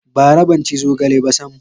Bara ban ci zogale ba sam.